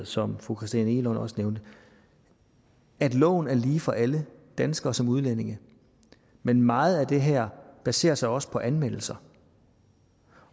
som fru christina egelund også nævnte at loven er lige for alle danskere som udlændinge men meget af det her baserer sig også på anmeldelser